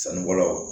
Sanubɔlaw